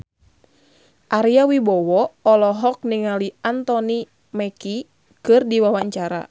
Ari Wibowo olohok ningali Anthony Mackie keur diwawancara